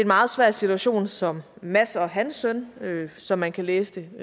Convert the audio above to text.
meget svær situation som mads og hans søn som man kan læse det